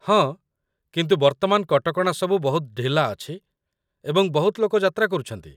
ହଁ, କିନ୍ତୁ ବର୍ତ୍ତମାନ କଟକଣା ସବୁ ବହୁତ ଢିଲା ଅଛି ଏବଂ ବହୁତ ଲୋକ ଯାତ୍ରା କରୁଛନ୍ତି।